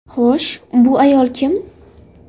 Xo‘sh, bu ayol kim?